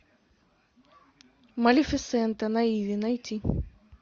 малефисента на иви найти